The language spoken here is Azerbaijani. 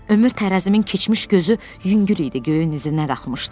Ömür tərəzimin keçmiş gözü yüngül idi, göyün üzünə qalxmışdı.